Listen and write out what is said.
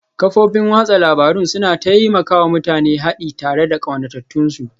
Kafofin watsa labarun suna taimaka wa mutane haɗi tare da ƙaunatattunsu